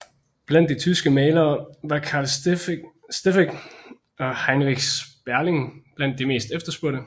Blandt de tyske malere var Carl Steffeck og Heinrich Sperling blandt de mest efterspurgte